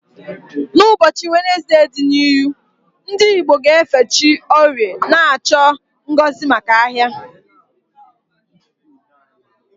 N'ụbọchị Wenezde n'ọdịnihu, ndị Igbo ga-efe chi Orie, na-achọ ngozi maka ahia.